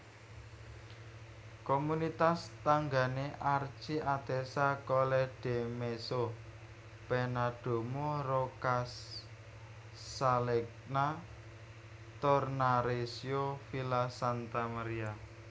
Komunitas tanggané Archi Atessa Colledimezzo Pennadomo Roccascalegna Tornareccio Villa Santa Maria